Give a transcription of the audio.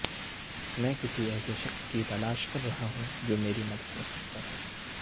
میں کسی ایسے شخص کی تلاش کر رہا ہوں جو میری مدد کرسکتا ہے